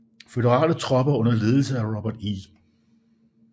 Føderale tropper under ledelse af Robert E